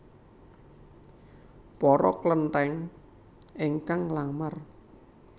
Poro Kleténg éngkang nglamar